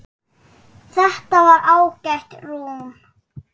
Þetta var ágætt rúm.